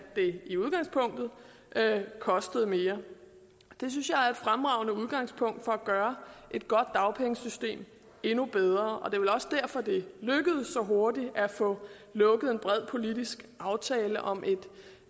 det i udgangspunktet kostede mere det synes jeg er et fremragende udgangspunkt for at gøre et godt dagpengesystem endnu bedre og det er vel også derfor det så hurtigt lykkedes at få lukket en bred politisk aftale om et